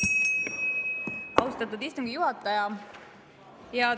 Austatud istungi juhataja!